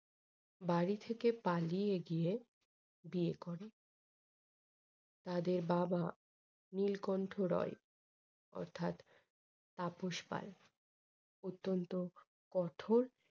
বাড়ি থেকে পালিয়ে গিয়ে বিয়ে করে। তাদের বাবা নীলকণ্ঠ রায় অর্থাৎ তাপস পাল অত্যন্ত কঠোর